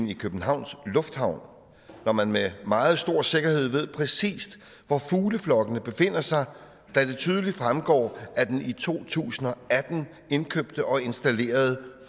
i københavns lufthavn når man med meget stor sikkerhed ved præcis hvor fugleflokkene befinder sig da det tydeligt fremgår af den i to tusind og atten indkøbte og installerede